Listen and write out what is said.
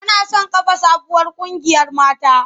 Tana son kafa sabuwar ƙungiyar mata.